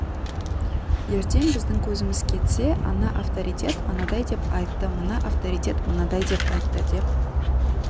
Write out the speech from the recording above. ертең біздің көзіміз кетсе ана авторитет анадай деп айтты мына авторитет мынадай деп айтты деп